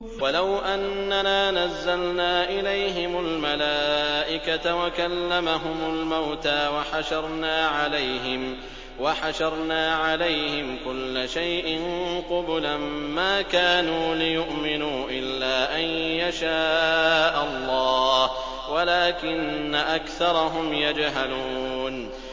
۞ وَلَوْ أَنَّنَا نَزَّلْنَا إِلَيْهِمُ الْمَلَائِكَةَ وَكَلَّمَهُمُ الْمَوْتَىٰ وَحَشَرْنَا عَلَيْهِمْ كُلَّ شَيْءٍ قُبُلًا مَّا كَانُوا لِيُؤْمِنُوا إِلَّا أَن يَشَاءَ اللَّهُ وَلَٰكِنَّ أَكْثَرَهُمْ يَجْهَلُونَ